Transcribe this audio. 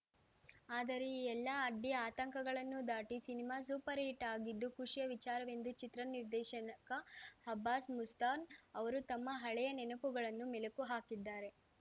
ಆದರೆ ಈ ಎಲ್ಲ ಅಡ್ಡಿ ಆತಂಕಗಳನ್ನು ದಾಟಿ ಸಿನಿಮಾ ಸೂಪರ್‌ ಹಿಟ್‌ ಆಗಿದ್ದು ಖುಷಿಯ ವಿಚಾರವೆಂದು ಚಿತ್ರ ನಿರ್ದೇಶಕ ಅಬ್ಬಾಸ್‌ ಮುಸ್ತಾನ್‌ ಅವರು ತಮ್ಮ ಹಳೆಯ ನೆನಪುಗಳನ್ನು ಮೆಲುಕು ಹಾಕಿದ್ದಾರೆ